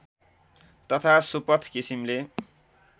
तथा सुपथ किसिमले